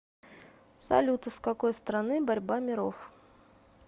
салют из какой страны борьба миров